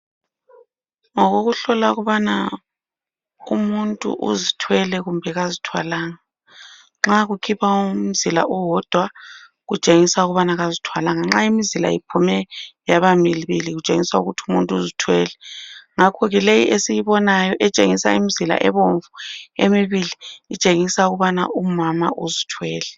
Ngokokuhlola ukubana umuntu uzithwele kumbe kazithwalanga nxa kukhipha umzila owodwa kutshengisa ukubana kazithwalanga ,nxa imizila iphume yaba mibili kutshengisa ukuthi umuntu uzithwele , ngakhoke leyi esiyibona etshengisa imzila ebomvu emibili itshengisa ukubana umama uzithwele